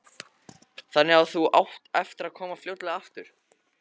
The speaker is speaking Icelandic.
Helga: Þannig að þú átt eftir að koma fljótlega aftur?